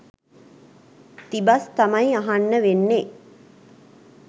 තිබස් තමයි අහන්න වෙන්නේ.